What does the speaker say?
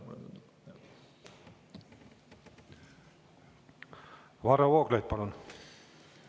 Varro Vooglaid, palun!